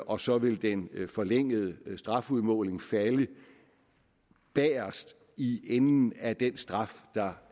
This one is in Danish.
og så vil den forlængede strafudmåling falde bagest i enden af den straf der